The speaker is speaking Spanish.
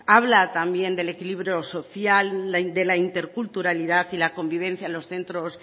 habla también del equilibrio social de la interculturalidad y la convivencia en los centros